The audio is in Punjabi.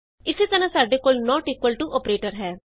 ਇਸੇ ਤਰ੍ਹਾਂ ਸਾਡੇ ਕੋਲ ਨੋਟ ਇਕੁਅਲ ਟੂ ਅੋਪਰੇਟਰ ਹੈ